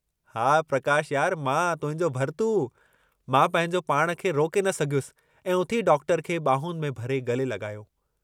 हा, प्रकाश यार मां तुहिंजो भरतू " मां पंहिंजो पाण खे रोके न सघियुसि ऐं उथी डॉक्टर खे बांहुनि में भरे गले लगायो।